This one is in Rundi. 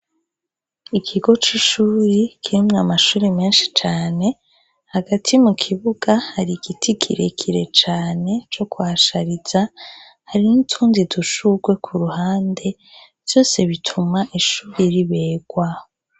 Ikigo c'ishure kirimwo amashure menshi cane, hagati mu kibuga hari ihiti kirekire cane co kuhashariza, hari n'utundi dushugwe ku ruhande. Vyose bituma ishure riberwa.